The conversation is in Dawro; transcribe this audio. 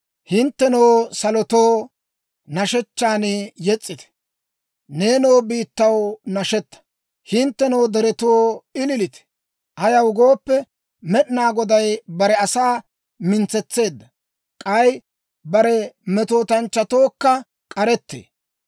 Hinttenoo salotoo, nashshechchan yes's'ite. Neenoo biittaw nashetaa. Hinttenoo deretoo, ililite! Ayaw gooppe, Med'inaa Goday bare asaa mintsetseedda; k'ay bare metootanchchatookka k'aretee.